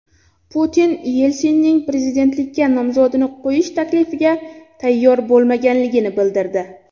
Putin Yelsinning prezidentlikka nomzodini qo‘yish taklifiga tayyor bo‘lmaganligini bildirdi.